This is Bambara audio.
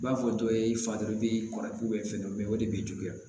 I b'a fɔ dɔ ye i fa dɔrɔn i bɛ kɔrɔ o de bɛ juguya